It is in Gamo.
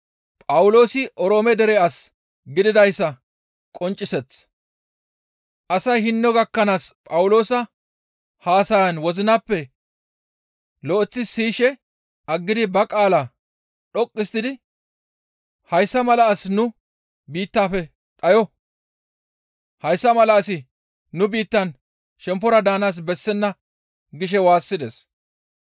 Asay hinno gakkanaas Phawuloosa haasaya wozinappe lo7eththi siyishe aggidi ba qaala dhoqqu histtidi, «Hayssa mala asi nu biittaafe dhayo; hayssa mala asi nu biittaan shemppora paxa daanaas bessenna» gishe waassides.